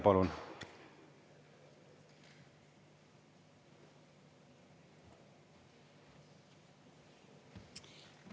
Palun!